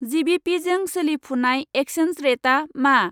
जिबिपिजों सोलिफुनाय एक्चेन्ज रेटा मा?